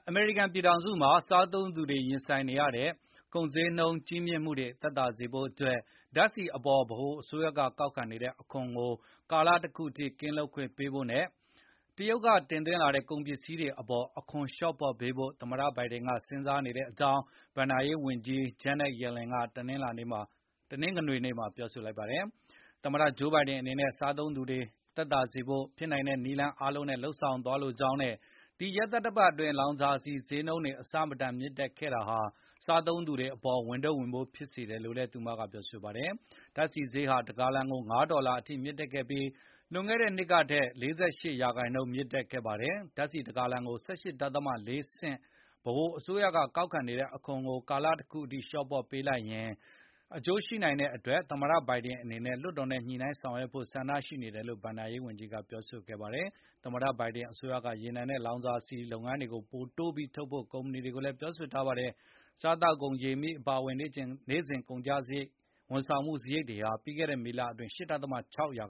အမေရိကန်ပြည်ထောင်စုမှာ စားသုံးသူတွေ ရင်ဆိုင်နေရတဲ့ ကုန်ဈေးနှုန်း ကြီးမြင့်မှုတွေ သက်သာစေဖို့ ဓာတ်ဆီအပေါ် ဗဟိုအစိုးရက ကောက်ခံတဲ့အခွန်ကို ကာလတခုအထိ ကင်းလွတ်ခွင့်ပေးဖို့နဲ့ တရုတ်ကလာတဲ့ သွင်းကုန်တွေကို အခွန်လျော့ပေါ့ပေးဖို့ သမ္မတ ဂျိုးဘိုင်ဒင်အနေနဲ့ စဉ်စားနေကြောင်း အမေရိကန်ဘဏ္ဍာရေးဝန်ကြီး Janet Yellen က တနင်္ဂနွေနေ့မှာ ပြောဆိုလိုက်ပါတယ်။ သမတ ဂျိုးဘိုင်ဒင်အနေနဲ့ စားသုံးသူတွေ သက်သာစေဖို့ ဖြစ်နိုင်တဲ့နည်းလမ်း အားလုံးနဲ့ လုပ်ဆောင်သွားလိုကြောင်းနဲ့ ဒီသီတင်းပတ်အတွင်း လောင်စာဆီဈေးနှုန်းတွေ အဆမတန်မြင့်တက်ခဲ့တာဟာ စားသုံးသူတွေအပေါ် ဝန်ထုပ်ဝန်ပိုး ဖြစ်စေတယ်လို့လည်း သူမကပြောဆိုပါတယ်။ ဓာတ်ဆီဈေးဟာ တဂါလံကို အနည်းဆုံး ၅ ဒေါ်လာအထိ မြင့်တက်ခဲ့ပြီး၊ လွန်ခဲ့တဲ့နှစ်ကထက် ၄၈ ရာခိုင်နှုန်း မြင်တက်ခဲ့တာပါ။ ဓာတ်ဆီတဂါလံကို ၁၈ ဒဿမ ၄ ဆင့် ဗဟိုအစိုးရက ကောက်ခံတဲ့အခွန်ကို အချိန်ကာလတခုအထိ လျော့ပေါ့ပေးလိုက်ရင် အကျိုးရှိနိုင်တဲ့အတွက် သမတဘိုင်ဒင်အနေနဲ့ လွှတ်တော်နဲ့ ညှိနိုင်းဆောင်ရွက်ဖို့ ဆန္ဒရှိတယ်လို့ ဘဏ္ဍာရေးဝန်ကြီး Yellen က ပြောပါတယ်။ သမ္မတဘိုင်ဒင်အစိုးရက ရေနံနဲ့လောင်စာဆီလုပ်ငန်း လုပ်ကိုင်သူတွေကို ပိုမိုတိုးပြီး ထုတ်လုပ်ကြဖို့ တိုက်တွန်းထားပါတယ်။ စားသောက်ကုန်၊ ရေ၊ မီး အပါအဝင် နေ့စဉ် ကုန်ကျစားရိတ်တွေနဲ့ ဝန်ဆောင်မှု စားရိတ်တွေဟာ ပြီးခဲ့တဲ့ မေလတွင်း ၈ ဒဿမ ၆ ရာ